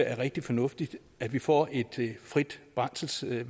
er rigtig fornuftigt at vi får et frit brændselsvalg